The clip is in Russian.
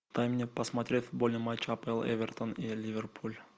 дай мне посмотреть футбольный матч апл эвертон и ливерпуль